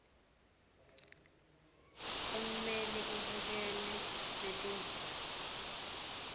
ummeleli ubukene netindzaba